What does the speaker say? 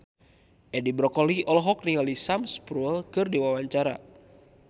Edi Brokoli olohok ningali Sam Spruell keur diwawancara